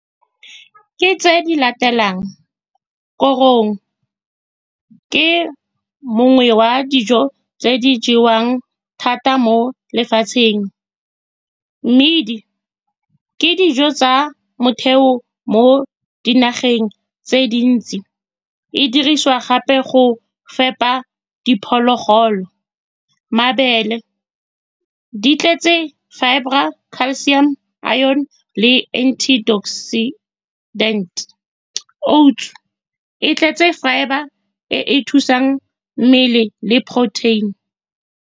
Ke tse di latelang, korong ke nngwe ya dijo tse di jewang thata mo lefatsheng, mmidi ke dijo tsa motheo mo dinageng tse dintsi, e dirisiwa gape go fepa diphologolo, mabele di tletse fibre-ra, calcium-o, iron-e le antioxidant-e, oats e tletse fibre e e thusang mmele le protein-e.